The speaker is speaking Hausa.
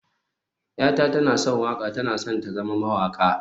yata tana son waƙa, tana son ta na zama mawaƙa